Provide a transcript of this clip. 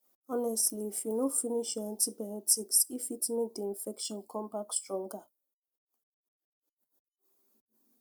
honestly if you no finish your antibiotics e fit make the infection come back stronger